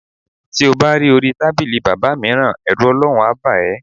Ti o bá ri orí tábìlì bábà mìíràn, è̩rù O̩ló̩run á bà é̩.